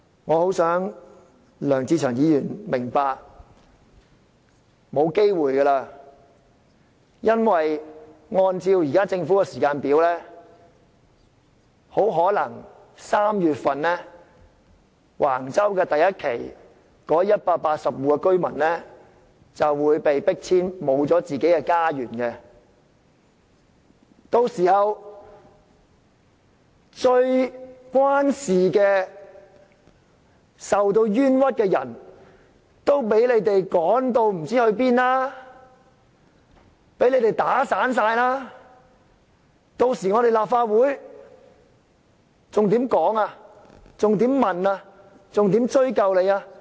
我很想梁志祥議員明白，已沒有機會了，因為按照政府的時間表，很可能受橫洲發展第1期計劃影響的180戶居民於3月份便會被迫遷，失去家園，到時候最受影響、最受到冤屈的人便會被你們趕到不知哪裏，全部被你們"打散"了，屆時立法會還有何可以討論、查問和追究的？